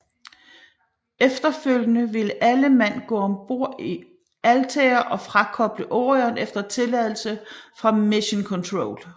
Efterfølgende vil alle mand gå om bord i Altair og frakoble Orion efter tilladelse fra Mission Control